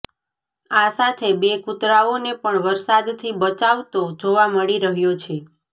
આ સાથે બે કૂતરાઓને પણ વરસાદથી બચાવતો જોવા મળી રહ્યો છે